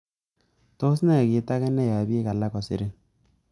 Tos nee kit age neyoe bik alak kosirin?